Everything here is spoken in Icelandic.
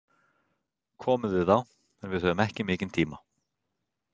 Komið þið þá, en við höfum ekki mikinn tíma.